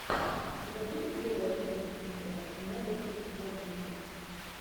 у тебя будет первая часть мистера нэгатив коммиксы